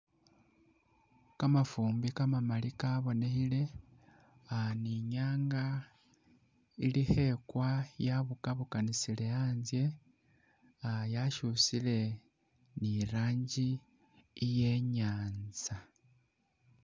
Kamafumbi kamamali kabonekhile ah ni i'nyaanga ili khekwa yabukabukanisile anzye ah yashusile ni i'rangi iye i'nyaanza.